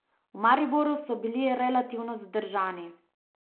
V Mariboru so bili relativno zadržani.